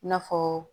I n'a fɔ